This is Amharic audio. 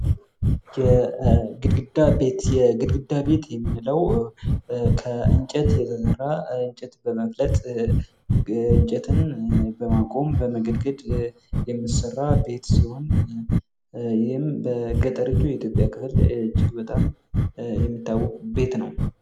የግድግዳ ቤት፦ የግድግዳ ቤት የምንለው ከግድግዳ የተሰራ እንጨትን በማቆም ከእንጨት የተሰራ ቢት ሲሆን ይህም በገጠሪቱ የኢትዮጵያ ክፍል የተለመደ ነው።